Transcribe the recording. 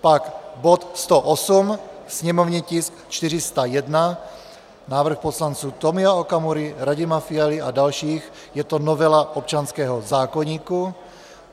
Pak bod 108, sněmovní tisk 401, návrh poslanců Tomio Okamury, Radima Fialy a dalších, je to novela občanského zákoníku.